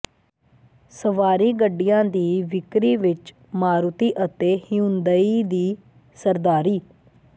ਸਵਾਰੀ ਗੱਡੀਆਂ ਦੀ ਵਿਕਰੀ ਵਿੱਚ ਮਾਰੂਤੀ ਅਤੇ ਹਿਊਂਦਈ ਦੀ ਸਰਦਾਰੀ